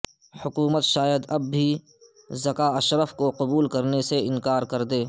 حکومت شاید اب بھی ذکا اشرف کو قبول کرنے سے انکار کر دے